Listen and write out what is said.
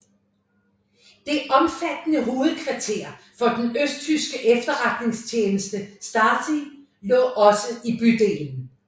Det omfattende hovedkvarter for den østtyske efterretningstjeneste Stasi lå også i bydelen